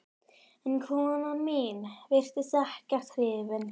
En konan mín virtist ekkert hrifin